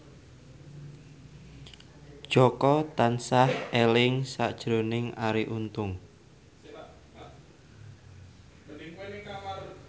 Jaka tansah eling sakjroning Arie Untung